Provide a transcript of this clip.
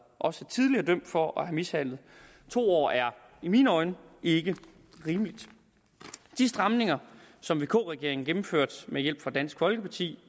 også tidligere er dømt for at have mishandlet to år er i mine øjne ikke rimeligt de stramninger som vk regeringen gennemførte med hjælp fra dansk folkeparti